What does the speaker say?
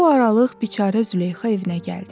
Bu aralıq biçərə Züleyxa evinə gəldi.